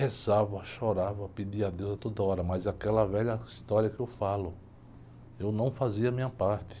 Rezava, chorava, pedia a Deus a toda hora, mas é aquela velha história que eu falo, eu não fazia a minha parte.